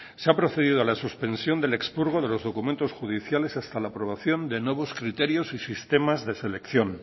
se ha procedido a la suspensión del expurgo de los documentos judiciales hasta la aprobación de nuevos criterios y sistemas de selección